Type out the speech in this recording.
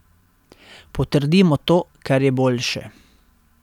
Potrdimo to, kar je boljše.